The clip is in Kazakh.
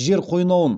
жер қойнауын